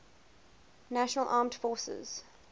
national armed forces